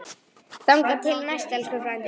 Þangað til næst, elsku frændi.